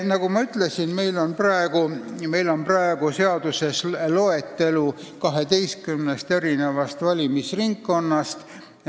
Nagu ma ütlesin, praegu on seaduses loetelu, kus on 12 valimisringkonda.